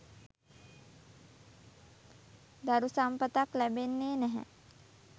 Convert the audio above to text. දරු සම්පතක් ලැබෙන්නේ් නැහැ.